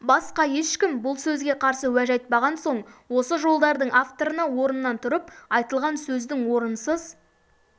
басқа ешкім бұл сөзге қарсы уәж айтпаған соң осы жолдардың авторына орнынан тұрып айтылған сөздің орынсыз